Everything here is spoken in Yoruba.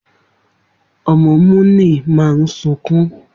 Omo Muni maa sunkun